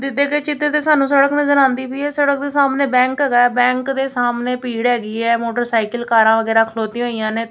ਦਿੱਤੇ ਗਏ ਚਿਤ੍ਰ ਤੇ ਸਾਨੂੰ ਸੜਕ ਨਜ਼ਰ ਆਉਂਦੀ ਪਈ ਹੈ ਸੜਕ ਦੇ ਸਾਹਮਣੇ ਬੈਂਕ ਹੈਗਾ ਹੈ ਬੈਂਕ ਦੇ ਸਾਹਮਣੇ ਭੀੜ੍ਹ ਹੈਗੀ ਹੈ ਮੋਟਰਸਾਈਕਿਲ ਕਾਰਾਂ ਵਗੈਰਾ ਖਲੌਤੀ ਹੋਈਆਂ ਨੇਂ।